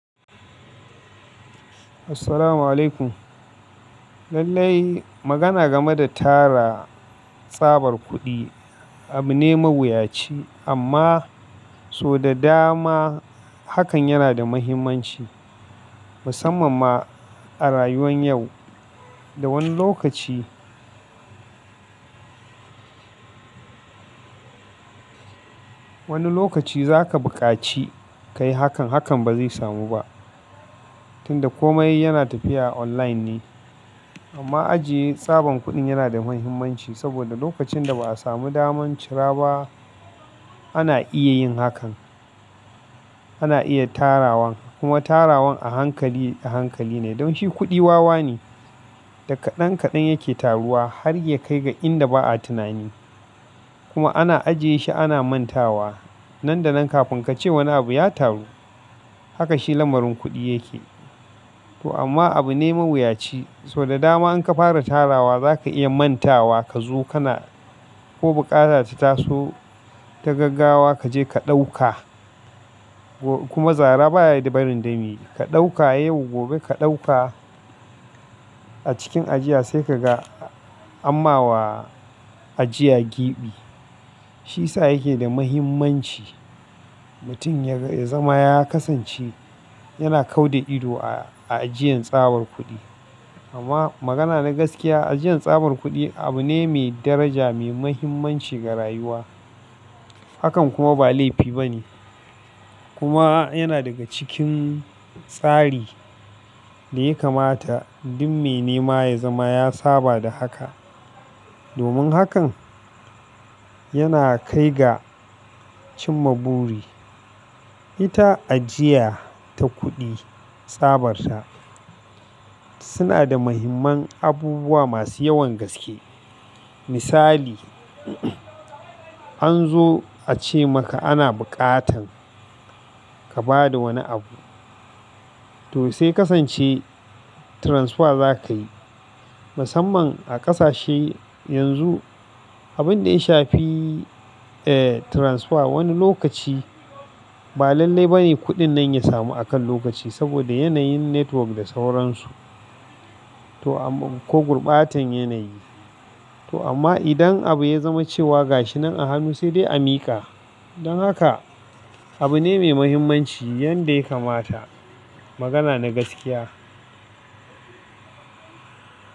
Assalamu alaikum. Lallai magana game da tara tsabar kuɗi abu ne mawuyaci amma so da dama hakan yana da muhimmanci, musamman ma a rayuwan yau. Da wani lokaci, wani lokaci zaka buƙaci kayi hakan, hakan bazai samu ba. Tunda komai yana tafiya online ne. Amma ajiye tsaban kuɗin yana da muhimmanci saboda lokacin da ba'a samu daman cira ba ana iya yin hakan. Ana iya tarawan kuma tarawan a hankali, a hankali ne don shi kuɗi wawa ne da kaɗan kaɗan yake taruwa har ya kai ga inda ba'a tunani. Kuma ana ajiye shi ana mantawa. Nan da nan kafin kace wani abu ya taru, haka shi lamarin kuɗi yake. To amma abu ne mawuyaci. To da dama in ka fara tarawa zaka iya mantawa ka zo kana ko bukata ta taso ta gaggawa kaje ka ɗauka. Kuma zara baya barin dami ka ɗauka yau, gobe ka ɗauka a cikin ajiya sai kaga, amma wa ajiya giɓi. Shiyasa yake da muhimmanci. Mutum ya ga, ya zama ya kasance yana kau da ido a, a ajiyan tsabar kuɗi. Amma magana na gaskiya, ajiyan tsabar kuɗi abu ne mai daraja, mai muhimmanci ga rayuwa. Hakan kuma ba laifi ba ne. Kuma yana daga cikin tsari da ya kamata duk mai nema ya zama ya saba da haka. Domin hakan yana kai ga cin ma buri. Ita ajiya ta kuɗi tsabarta suna da muhimman abubuwa masu yawan gaske. Misali, an zo a ce maka ana bukatan ka bada wani abu. To sai ya kasance transfer zakayi. Musamman a kasashe yanzu abunda ya shafi transfer ba lallai bane kudin ya samu akan lokaci saboda yanayin network da sauransu to amm-- ko gurbatan yanayi. To amma idan abu ya zama cewa gashi nan a hannu sai dai a miƙa. Don haka abu ne mai muhimmanci yanda ya kamata. Magana na gaskiya.